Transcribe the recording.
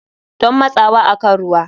Don matsawa akan ruwa.